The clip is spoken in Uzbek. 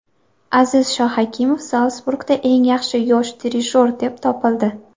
Aziz Shohakimov Zalsburgda eng yaxshi yosh dirijor deb topildi.